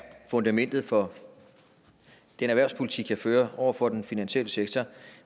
fundamentet for den erhvervspolitik jeg fører over for den finansielle sektor